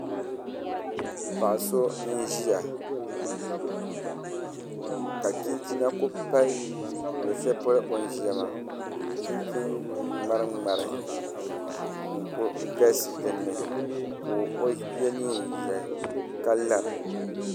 Paɣa so n ʒiya ka chinchina ku pali luɣu shɛli polo o ni ʒiya maa chinchin ŋmari ŋmari n kuli galisi dinni ka o yɛ neen ʒiɛhi ka lara